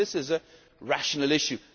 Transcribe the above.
issue for me this is a rational